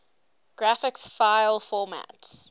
graphics file formats